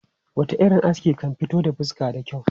Wata irin aski kan fito da fuska da kyau.